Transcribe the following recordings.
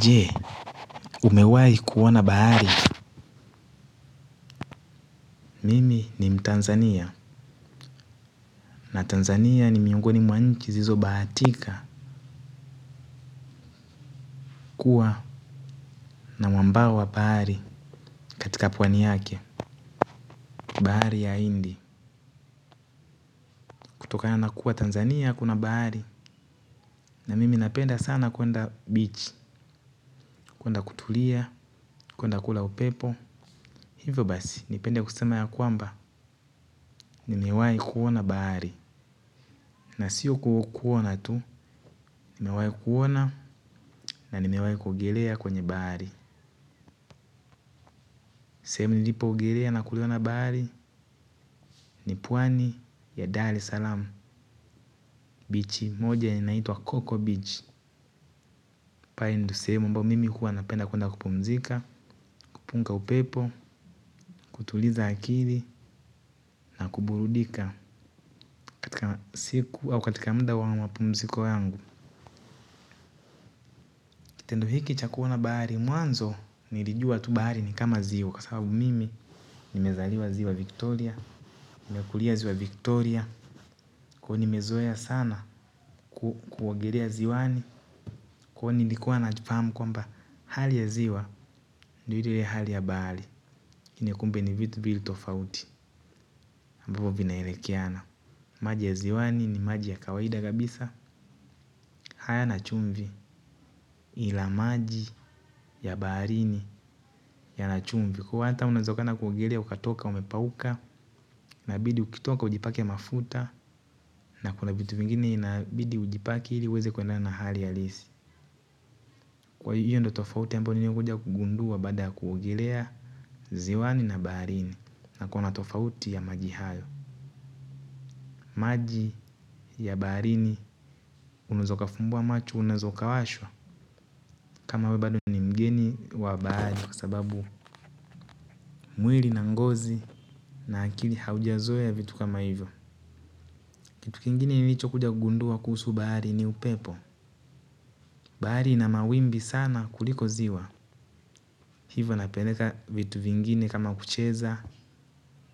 Jee, umewai kuona baari. Mimi ni mtanzania. Na Tanzania ni miungoni mwanchi zizo baatika kuwa na mwambawa baari. Katika pwani yake, baari ya indi. Kutokana nakuwa Tanzania kuna baari. Na mimi napenda sana kuenda beach kuenda kutulia kuenda kula upepo. Hivyo basi, nipenda kusema ya kwamba. Nimewai kuona baari. Nasio kuona tu nimewai kuona na nimewai kuogolea kwenye baari. Semu nilipo ogelea na kuliona baari ni puwani ya Dali Salam, bichi moja yenye inaituwa Coco Beach. Pae nilu semu ambao mimi huwa napenda kuwenda kupumzika, kupunga upepo, kutuliza akili na kuburudika katika siku au katika mda wangu wapumziko yangu. Tendo hiki chakuona baari, muanzo nilijua tu baari ni kama ziwa. Kwa sababu mimi nimezaliwa ziwa Victoria. Nimekulia ziwa Victoria. Kwa nimezoya sana kuwogelea ziwani. Kwa nilikuwa nafamu kwamba hali ya ziwa ndiyo hali baari kumbe ni vitu viwili tofauti. Maji ya ziwani ni maji ya kawaida kabisa hayana chumvi ila maji ya baharini yana chumvi. Kwahiyo hata unawezekana kuogelea ukatoka umepauka inabidi ukitoka ujipake mafuta na kuna vitu vingine inabidi ujipake ili uweze kwendana na hali halisi. Kwa hiyo ndio tofauti ambayo niliokuja kuja kugundua baada kuogelea ziwani na baharini. Na kuna tofauti ya maji hayo. Maji ya barini. Unaweza uka fumbua macho unaeza uka washwa. Kama we bado ni mgeni wa bahari kwa sababu mwili na ngozi aa akili haujazoea ya vitu kama hivyo. Kitu kingine nilicho kuja kugundua kuhusu bahari ni upepo bahari ina mawimbi sana kuliko ziwa hivyo napeleka vitu vingine kama kucheza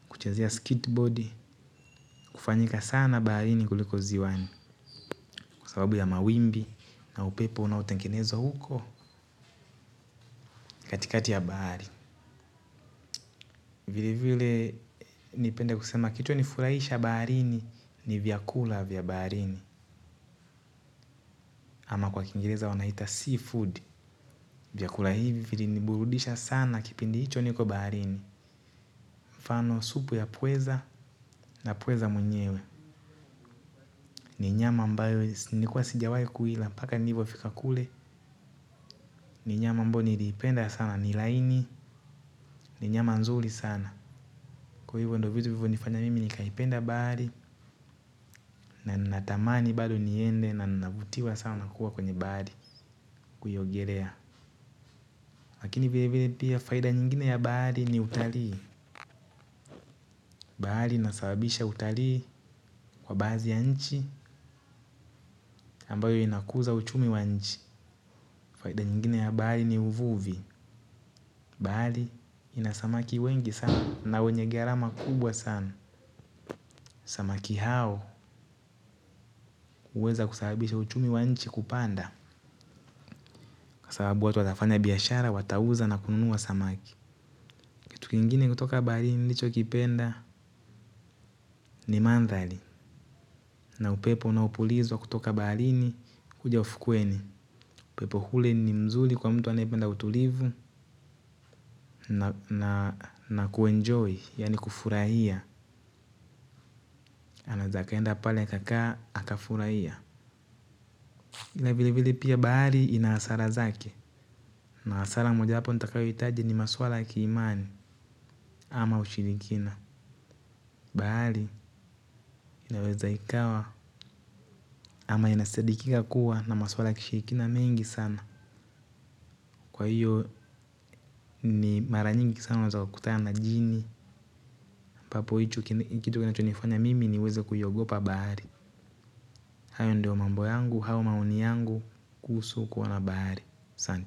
kuchezea skit board hufanyika sana baharini kuliko ziwani. Kwsababu ya mawimbi na upepo unao tengenezwa huko katikati ya bahari. Vile vile nipende kusema kilichonifurahisha baharini ni vyakula vya baharini. Kwa kwa kingereza wanaita sea food, vyakula hivi vili niburudisha sana kipindi hicho niko baharini. Mfano supu ya pweza na pweza mwenyewe ni nyama ambayo nilikua sijawai kuila mpaka nilivyofika kule. Ni nyama ambayo niliipenda sana, nil aini, ni nyama nzuri sana. Kwa hivyo ndo vitu vilivyo nifanya mimi nikaipenda bahari. Na natamani bado niende na ninavutiwa sana kuwa kwenye bahari kuiogelea. Lakini vile vile pia, faida nyingine ya bahari ni utalii. Bahari inasabisha utalii kwa baadhi ya nchi ambayo inakuza uchumi wa nchi faida nyingine ya bahari ni uvuvi. Bahari ina samaki wengi sana na wenye gharama kubwa sana. Samaki hao huweza kusabibisha uchumi wa nchi kupanda. Kwasababu watu watafanya biashara watauza na kununua samaki. Kitu kingine kutoka baharini nilicho kipenda ni mandhali. Na upepo unaopulizwa kutoka baharini kuja ufukweni. Upepo ule ni mzuri kwa mtu anaependa utulivu. Na kuenjoy yani kufurahia. Anaeza akaenda pale kakaa akafurahia. Ila vile vile pia bahari ina hasara zake. Na hasara moja wapo ntakayo hitaji ni maswala kiimani ama ushirikina. Bahari inaweza ikawa ama ina sadikika kuwa na maswala kishirikina mengi sana. Kwa hiyo ni mara nyingi sana unaweza ukakutana na jini ambapo icho kitu kinacho nifanya mimi niweze kuiogopa bahari. Hayo ndio mambo yangu au maoni yangu kuhusu kuona bahari asante.